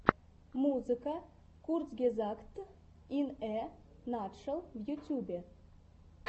музыка курцгезагт ин э натшел в ютьюбе